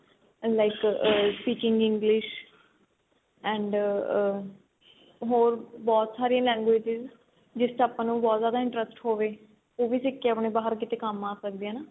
like ਆ speaking English and ਆ ਹੋਰ ਬਹੁਤ ਸਾਰੀਆਂ languages ਜਿਸ ਚ ਆਪਾਂ ਨੂੰ ਬਹੁਤ ਜਿਆਦਾ interest ਹੋਵੇ ਉਹ ਵੀ ਸਿਖ ਕੇ ਆਪਣੇ ਕੀਤੇ ਕੰਮ ਆ ਸਕਦੀ ਏ ਨਾ